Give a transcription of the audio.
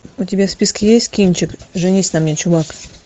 у тебя в списке есть кинчик женись на мне чувак